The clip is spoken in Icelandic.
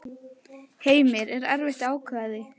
Heimir: Var erfitt að ákveða sig?